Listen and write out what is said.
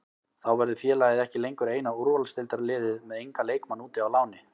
Þá verður félagið ekki lengur eina úrvalsdeildarliðið með engan leikmann úti á láni.